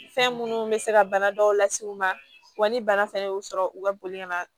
Fɛn minnu bɛ se ka bana dɔw las'u ma wa ni bana fɛnɛ y'u sɔrɔ u ka boli ka na